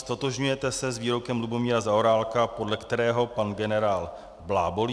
Ztotožňujete se s výrokem Lubomíra Zaorálka, podle kterého pan generál blábolí?